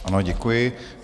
Ano, děkuji.